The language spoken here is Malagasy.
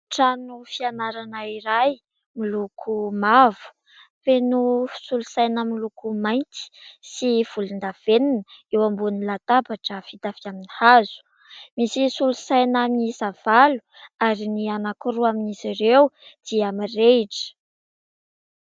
Trano fianarana iray miloko mavo, feno solosaina miloko mainty sy volondavenona, eo ambonin'ny latabatra vita avy amin'ny hazo, misy solosaina miisa valo ary ny anankiroa amin'izy ireo dia mirehitra.